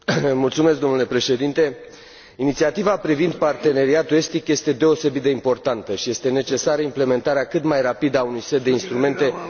Inițiativa privind Parteneriatul estic este deosebit de importantă și este necesară implementarea cât mai rapidă a unui set de instrumente care să faciliteze aplicarea sa.